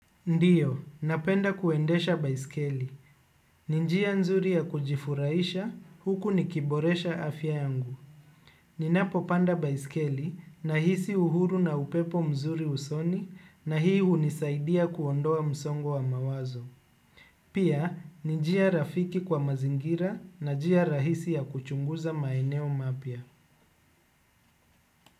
Ndiyo, napenda kuendesha baiskeli. Ni njia nzuri ya kujifurahisha, huku nikiboresha afya yangu. Ninapopanda baiskeli nahisi uhuru na upepo mzuri usoni na hii hunisaidia kuondoa msongo wa mawazo. Pia, ni njia rafiki kwa mazingira na jia rahisi ya kuchunguza maeneo mapya.